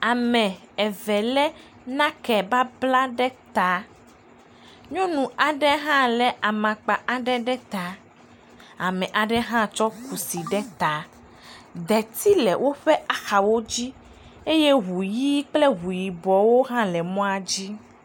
ame eve le nake babla ɖe ta nyɔnu aɖe hã le amakpa aɖe ɖe ta ame aɖe ha tsɔ kusi ɖe ta deti le wóƒe axawodzi eye ʋu yi kple ʋu yibɔwo hã le mɔa dzi